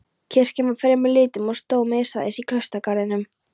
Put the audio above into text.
Kirkjan var fremur lítil og stóð miðsvæðis í klausturgarðinum.